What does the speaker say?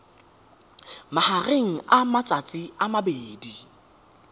magareng ga matsatsi a mabedi